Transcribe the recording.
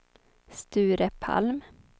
Sture Palm